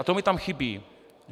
A to mi tam chybí.